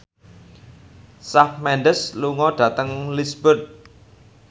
Shawn Mendes lunga dhateng Lisburn